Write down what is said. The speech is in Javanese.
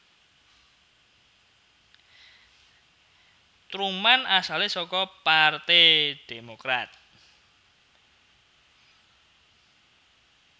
Truman asale saka Parte Demokrat